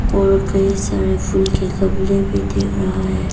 और कई सारे फूल के गमले भी दिख रहा है।